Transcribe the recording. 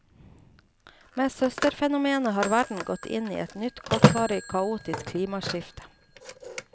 Med søsterfenomenet har verden gått inn i et nytt kortvarig, kaotisk klimaskifte.